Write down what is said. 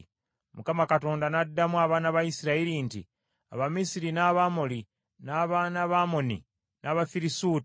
Mukama Katonda n’addamu abaana ba Isirayiri nti, “Abamisiri n’Abamoli, n’abaana ba Amoni, n’Abafirisuuti,